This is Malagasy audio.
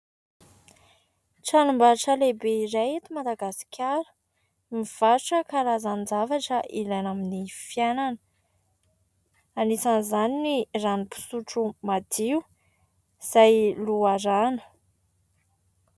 Tranombarotra lehibe iray eto Madagasikara mivarotra karazan-javatra ilaina amin'ny fiainana. Anisan'izany ny ranom-pisotro madio izay loharano.